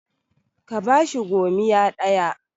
ka bashi gomiya ɗaya!